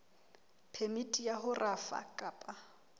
phemiti ya ho rafa kapa